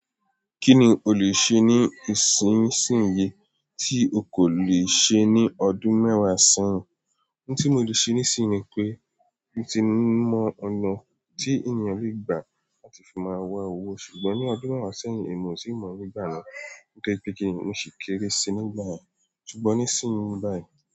Kí ni o leè ṣe ní ìsinsìnyí tí o kò le ṣe ní ọdún mẹ́wàá sẹ́yìn? Ohun tí mo le ṣe nísinsìnyí ni pé, mo ti mọ ọ̀nà tí ènìyàn le gbà láti fi máa wa owó. Ṣùgbọ́n ní ọdún mẹ́wàá sẹ́yìn, èmi ò tiì mọ̀ nígbà náà. Nitoripe kini, mo ṣi kéré síi nígbà yen. Ṣùgbọ́n nísinsìnyí báyìí.